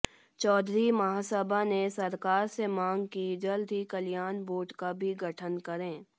चौधरी महासभा ने सरकार से मांग कि जल्द ही कल्याण बोर्ड का भी गठन करे